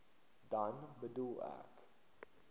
dan bedoel ek